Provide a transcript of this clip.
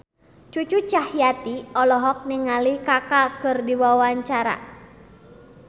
Cucu Cahyati olohok ningali Kaka keur diwawancara